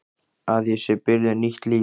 Að ég sé byrjuð nýtt líf.